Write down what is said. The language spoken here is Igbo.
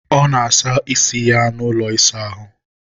ọ na-asa isi ya n'ụlọ ịsa ahụ